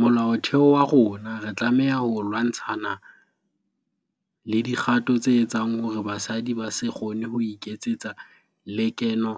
Molaotheo wa rona re tlameha ho lwantshana le dikgato tse etsang hore basadi ba se kgone ho iketsetsa lekeno